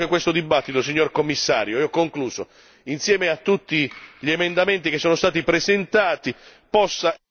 Allora spero che questo dibattito, signor Commissario e ho concluso insieme a tutti gli emendamenti che sono stati presentati possa